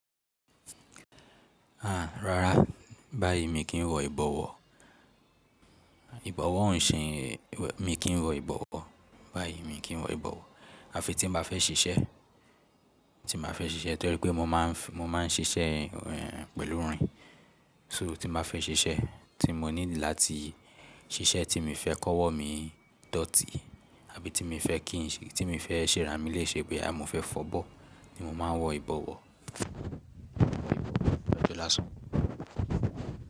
Àá, rárá, báyìí mi kì n wọ ìbọ̀wọ̀. Ìbọ̀wọ̀ ò ṣe, mi kì í wọ ìbọ̀wọ̀. Báyìí mi kì í wọ ìbọ̀wọ̀. À fi tí mo bá fẹ́ ṣiṣẹ́, tí mo bá fẹ́ ṣiṣẹ́ torí pé mo máa ń ṣiṣẹ pẹ̀lú irin. So tí mo bá fẹ́ ṣiṣẹ́ tí mo need láti ṣiṣẹ́ tí mi n fẹ́ kọ́wọ̀ mí dọ̀tí àbí tí mi n fẹ́ kí n ṣe, tí mi n fẹ́ ṣè rá mi lé ṣe boya, mo fẹ́ fọ̀bọ̀ ni mo máa ń wọ ìbọ̀wọ̀. Ọjọ́ lásán.